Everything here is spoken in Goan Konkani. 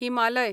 हिमालय